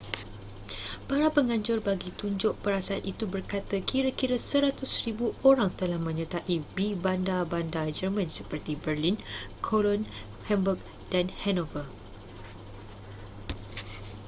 para penganjur bagi tunjuk perasaan itu berkata kira-kira 100,000 orang telah menyertai di bandar-bandar german seperti berlin cologne hamburg dan hanover